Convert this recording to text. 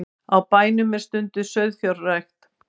Á bænum er stunduð sauðfjárrækt